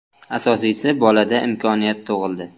Asosiysi bolada imkoniyat tug‘ildi.